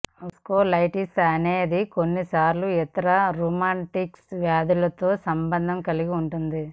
vasculitis అనేది కొన్నిసార్లు ఇతర రుమాటిక్ వ్యాధులతో సంబంధం కలిగి ఉంటుంది